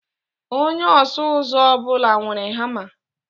Onye ọsụ ụzọ ọ bụla nwere hama.